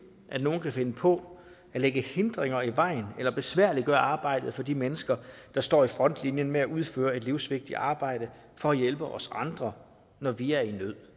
at nogle kan finde på at lægge hindringer i vejen eller besværliggøre arbejdet for de mennesker der står i frontlinjen med at udføre et livsvigtigt arbejde for at hjælpe os andre når vi er i nød